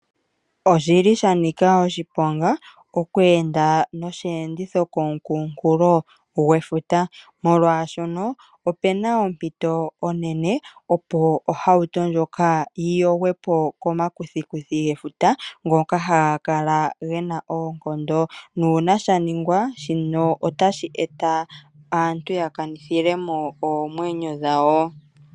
Oshili shanika oshiponga okweenda nosheenditho komukunkulo gwefuta molwashono opuna ompito onene opo ohauto ndjoka yiyogwepo komakuthikuthi gefuta ngoka haga kala gena oonkondo. Nuuna shaningwa shino otashi eta aantu yakanithilemo oomwenyo dhawo.